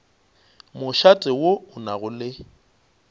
mošate wo o nago le